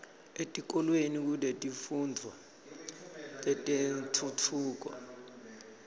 etikolweni kunetifundvo tetentfutfuko